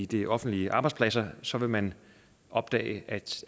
de offentlige arbejdspladser så vil man opdage